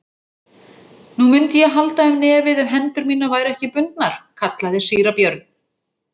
Nú, mundi ég halda um nefið ef hendur mínar væru ekki bundnar, kallaði síra Björn.